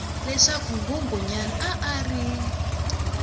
leswaku nghunghunyana a a ri